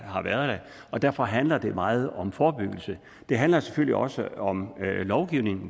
har været der og derfor handler det meget om forebyggelse det handler selvfølgelig også om lovgivning